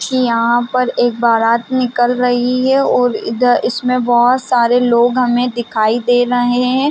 कि यहाँ पर एक बारात निकल रही है और इधर इसमें बहुत सारे लोग हमें दिखाई दे रहे हैं ।